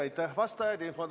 Aitäh, vastajad!